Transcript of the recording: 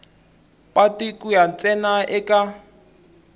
patu ku ya ntsena eka